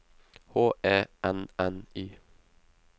H E N N Y